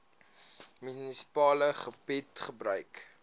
munisipale gebied gebruik